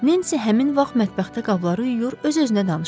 Nensi həmin vaxt mətbəxdə qabları yuyur, öz-özünə danışırdı.